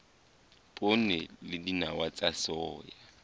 poone le dinawa tsa soya